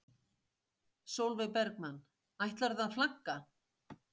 Sólveig Bergmann: Ætlarðu að flagga?